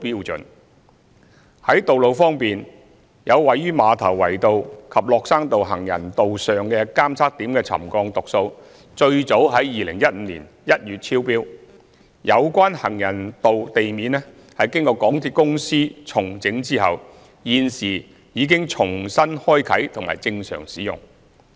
在道路方面，有位於馬頭圍道及落山道行人道上的監測點的沉降讀數最早於2015年1月超標，有關行人道地面經港鐵公司重整後，現時已重新開放及正常使用。